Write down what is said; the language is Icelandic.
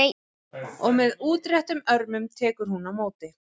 Og með útréttum örmum tekur hún á móti.